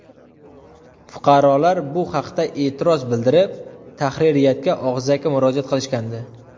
Fuqarolar bu haqda e’tiroz bildirib, tahririyatga og‘zaki murojaat qilishgandi.